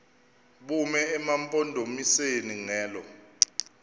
bume emampondomiseni ngelo